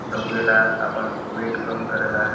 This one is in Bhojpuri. दउड़ेला आपन वेट कम करेला।